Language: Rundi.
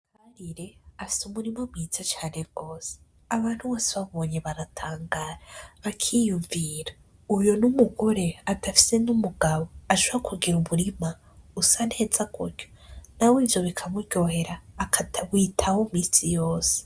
Ire afise umurima mwiza cane rwose abantu bose bamubonye baratangara bakiyumvira uyu numugore adafise numugabo ashobora kugira umurima usa neza gutya? Nawe ivyo bikamuryohera akajya awitaho iminsi yose.